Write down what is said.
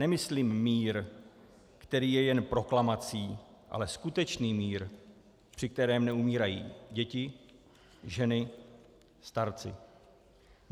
Nemyslím mír, který je jen proklamací, ale skutečný mír, při kterém neumírají děti, ženy, starci.